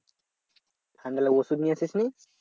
ঠান্ডা লাগলো ওষুধ নিয়ে আসিস নি?